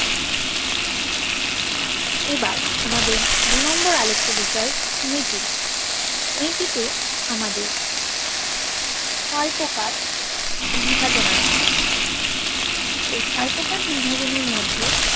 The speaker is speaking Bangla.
এবার আমাদের দু নম্বর আলোচ্য বিষয় বৈদিক বৈদিতে আমাদের কয় প্রকার বিভাজন আছে এই ছয় প্রকার বিভাজন এর মধ্যে